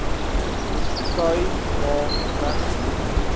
khai ma regsgebied